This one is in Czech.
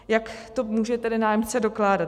Jak to může tedy nájemce dokládat?